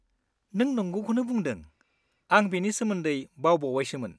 नों नंगौखौनो बुंदों, आं बेनि सोमोन्दै बावबावबायसोमोन।